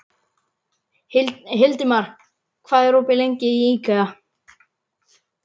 Hildimar, hvað er opið lengi í IKEA?